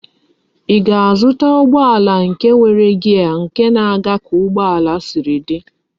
Í ga-azụta ụgbọala nke nwere gear nke na aga ka ugbo ala Siri di?